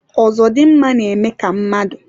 ozodimgba na-eme ka mmadụ